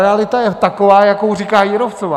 Realita je taková, jakou říká Jírovcová.